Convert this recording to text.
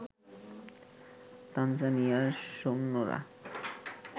তানজানিয়ার সৈন্যরা